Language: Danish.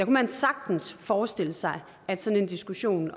man sagtens forestille sig at sådan en diskussion